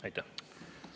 Aitäh!